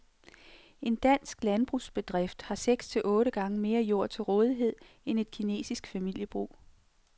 En dansk landbrugsbedrift har seks til otte gange mere jord til rådighed end et kinesisk familiebrug.